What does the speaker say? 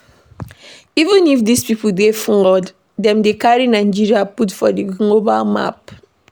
Even if these people dey flawed, dem dey carry Nigeria put for di global map